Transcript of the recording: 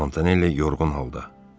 Montanelli yorğun halda.